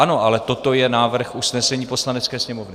Ano, ale toto je návrh usnesení Poslanecké sněmovny.